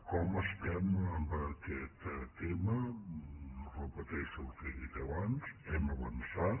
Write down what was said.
com estem en aquest tema repeteixo el que he dit abans hem avançat